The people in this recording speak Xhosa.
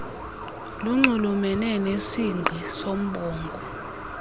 lunxulumene nesingqi soombongo